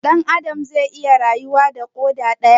Dan Adam zai iya rayuwa da koda daya?